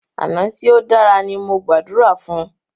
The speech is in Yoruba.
Àná tí o dára ní mo gbàdúrà fún.